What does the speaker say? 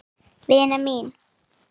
Vina mín!